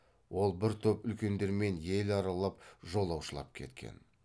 ол бір топ үлкендермен ел аралап жолаушылап кеткен